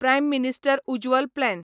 prime minister Ujjwal plan